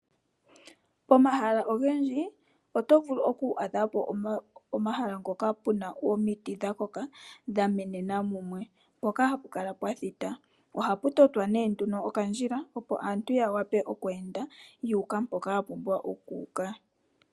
Pomahala ogendji oto vulu oku adhapo omahala ngoka puna omiti dhakoka dhamenena mumwe mpoka hapukala pwathita. Ohapu totwa nee okandjila opo aantu ya wape okweenda ya uka mpoka ya pumbwa oku uka.